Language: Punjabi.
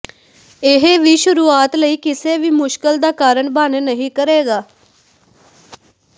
ਇਹ ਵੀ ਸ਼ੁਰੂਆਤ ਲਈ ਕਿਸੇ ਵੀ ਮੁਸ਼ਕਲ ਦਾ ਕਾਰਨ ਬਣ ਨਹੀ ਕਰੇਗਾ